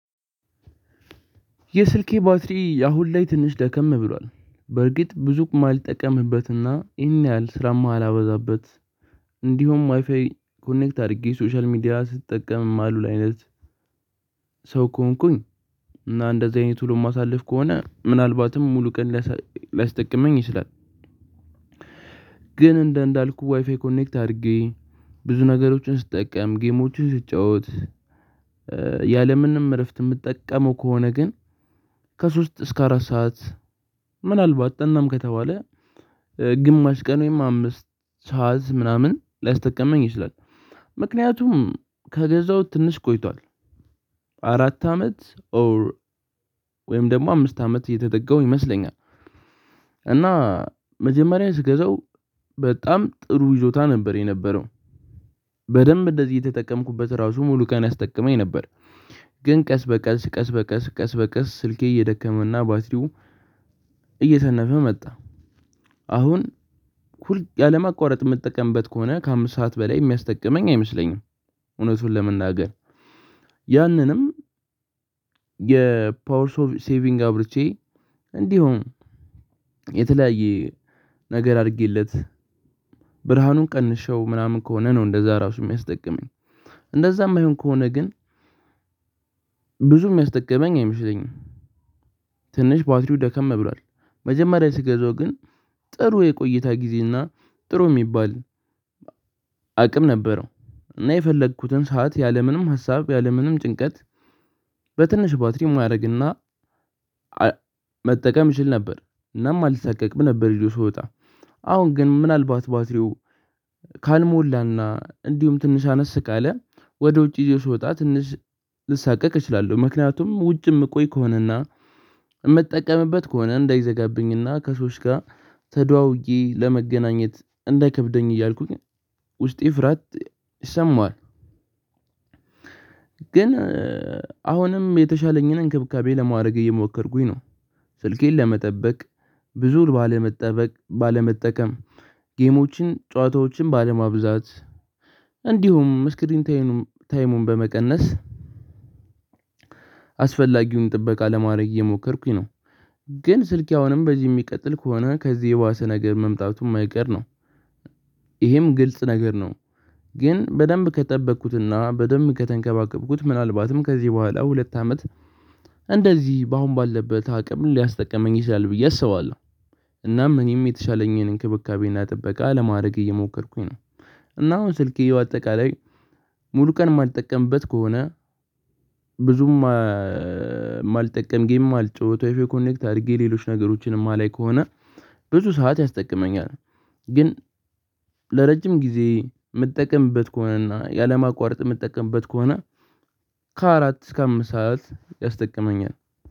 የስልኬ ባትሪ አሁን ላይ ትንሽ ደከም ብሏል በርግጥ ብዙ አልጠቀምበትና ይሄን ያህል ስራማ አላበዛበት። እንዲሁም ዋይፋይ ኮኔክት አድርጌ ሶሻል ሚዲያ ስትጠቀምም አሉል አይነት። ሰው ከሆንኩኝ እና እንደዚህ አይነት ወሎ የማሳልፍ ከሆነ ምናልባትም ሙሉ ቀን ላስጠቅመኝ ይችላል። ግን እንደ እንዳልኩህ ዋይፋይ ኮኔክት አድርጌ ብዙ ነገሮችን ስትጠቀም ጌሞችን ስትጫወት። ያለምንም እረፍት የምትጠቀመው ከሆነ ግን። ከሶስት እስከ አራት ሰዓት ምናልባት ጥናም ከተባለ ግማሽ ቀን ወይም አምስት ሰዓት ምናምን ላስጠቀመኝ ይችላል። ምክንያቱም ከገዛው ትንሽ ቆይቷል። አራት አመት ኦር ወይም ደግሞ አምስት አመት እየተደጋው ይመስለኛል። እና መጀመሪያ ስገዛው በጣም ጥሩ ይዞታ ነበር የነበረው። በደንብ እንደዚህ የተጠቀምኩበት ራሱ ሙሉ ቀን ያስጠቀመኝ ነበር። ግን ቀስ በቀስ ቀስ በቀስ ቀስ በቀስ ስልኬ እየደከመውና ባትሪው እየተነፈ መጣ። አሁን ሁል ያለማአቋረጥ የምትጠቀምበት ከሆነ ከአምስት ሰዓት በላይ የሚያስጠቅመኝ አይመስለኝም። እውነቱን ለመናገር ያንንም የፓወር ኦፍ ሴቪንግ አብርቼ እንዲሁም የተለያየ ነገር አድርጌለት። ብርሃኑን ቀንሼው ምናምን ከሆነ ነው እንደዛ ራሱ የሚያስጠቅመኝ። እንደዛም የማይሆን ከሆነ ግን ብዙም የሚያስጠቅመኝ አይመስለኝም። ትንሽ ባትሪው ደከም ብሏል። መጀመሪያ ስገዛው ግን ጥሩ የቆየታ ጊዜ እና ጥሩ የሚባል አቅም ነበረው። እና የፈለኩትን ሰዓት ያለምንም ሀሳብ ያለምንም ጭንቀት በትንሽ ባትሪ ማድረግና። መጠቀም ይችል ነበር እናም አልሳቀቅም ነበር ይዠው ስወጣ። አሁን ግን ምናልባት ባትሪው ካልሞላና እንዲሁም ትንሽ አነስ ካለ ወደ ውጪ ይዤው ስወጣ ትንሽ ልሳቀቅ እችላለሁ። ምክንያቱም ውጪ የምቆይ ከሆነና የምጠቀምበት ከሆነ እንዳይዘጋብኝና ከሰዎች ጋር ተደዋውዬ ለመገናኘት እንዳይከብደኝ እያልኩኝ ውስጤ ፍራት ይሰማዋል። ግን አሁንም የተሻለኝን እንክብካቤ ለማድረግ እየሞከርኩኝ ነው። ስልኬን ለመጠበቅ ብዙ ባለመጠበቅ ባለመጠቀም ጌሞችን ጨዋታዎችን ባለማብዛት እንዲሁም ስክሪን ታይሙን በመቀነስ። አስፈላጊውን ጥበቃ ለማድረግ የሞከርኩኝ ነው። ግን ስልክ አሁንም በዚህ የሚቀጥል ከሆነ ከዚህ የባሰ ነገር መምጣቱ የማይቀር ነው። ይሄም ግልጽ ነገር ነው። ግን በደንብ ከጠበኩትና በደንብ ከተንከባከብኩት ምናልባትም ከዚህ በኋላ ሁለት አመት እንደዚህ በአሁን ባለበት አቅም ሊያስጠቅመኝ ይችላል ብዬ አስባለሁ። እናም እኔም የተሻለኝን እንክብካቤና ጥበቃ ለማድረግ እየሞከርኩኝ ነው። እና አሁን ስልኬ አጠቃላይ ሙሉ ቀን የማልጠቀምበት ከሆነ ብዙም እማልጠቀም ጌም እማልጫዎት ዋይ ፋይ ኮኔክት አድርጌ ሌሎች ነገሮችንም የማላይ ከሆነ ብዙ ሰዓት ያስጠቅመኛል። ግን ለረጅም ጊዜ የምትጠቀምበት ከሆነና ያለማቋረጥ የምትጠቀምበት ከሆነ ከአራት እስከ አምስት ሰዓት ያስጠቅመኛል